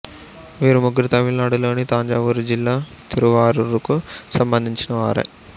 వీరు ముగ్గురూ తమిళనాడులోని తంజావూరు జిల్లా తిరువారూరుకు సంబంధించిన వారే